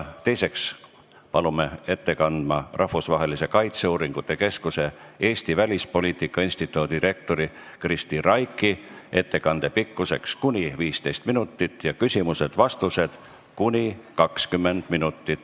Teiseks palume ettekandeks kõnepulti Rahvusvahelise Kaitseuuringute Keskuse Eesti Välispoliitika Instituudi direktori Kristi Raigi, ettekande pikkus kuni 15 minutit ning küsimused ja vastused kestavad kuni 20 minutit.